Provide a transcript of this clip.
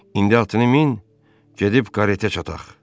İndi atını min, gedib karetə çataq.